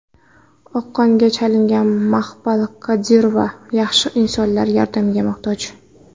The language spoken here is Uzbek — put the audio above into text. Oqqonga chalingan Maqpal Kadirova yaxshi insonlar yordamiga muhtoj.